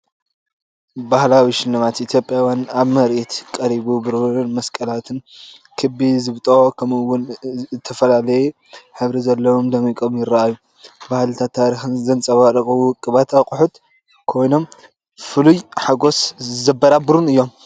ባህላዊ ሽልማት ኢትዮጵያውያን ኣብ ምርኢት ቀሪቡ፤ ብሩር መስቀላት: ክቢ ዝብጦ: ከምኡውን እተፈላለየ ሕብሪ ዘለዎም ደሚቆም ይራኣዩ። ባህልን ታሪኽን ዘንጸባርቑ ውቁባት ኣቑሑት ኮይኖም፡ ፍሉይ ሓጎስ ዘበራብሩን እዮም።